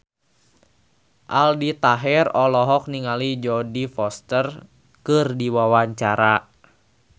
Aldi Taher olohok ningali Jodie Foster keur diwawancara